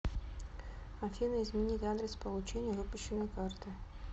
афина изменить адрес получения выпущенной карты